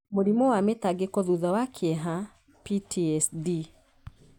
Mũrimũ wa mĩtangĩko thutha wa kĩeha (PTSD);